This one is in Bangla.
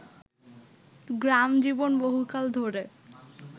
গ্রামজীবন বহুকাল ধরে